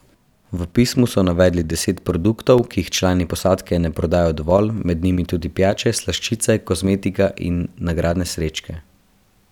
V pismu so navedli deset produktov, ki jih člani posadke ne prodajo dovolj, med njimi tudi pijače, slaščice, kozmetika in nagradne srečke.